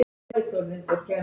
Ólafur læknir sat fram í.